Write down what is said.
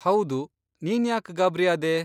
ಹೌದು, ನೀನ್ಯಾಕ್ ಗಾಬ್ರಿಯಾದೆ?